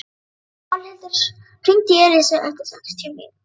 Pálhildur, hringdu í Elísu eftir sextíu mínútur.